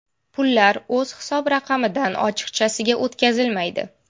Pullar o‘z hisob-raqamidan ochiqchasiga o‘tkazilmaydi.